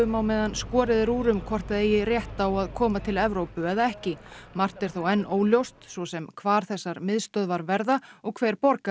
á meðan skorið er úr um hvort það eigi rétt á að koma til Evrópu eða ekki margt er þó enn óljóst svo sem hvar þessar miðstöðvar verða og hver borgar